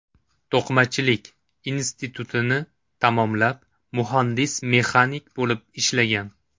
To‘qimachilik institutini tamomlab, muhandis-mexanik bo‘lib ishlagan.